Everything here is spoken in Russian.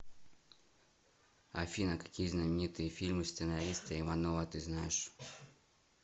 афина какие знаменитые фильмы сценариста иванова ты знаешь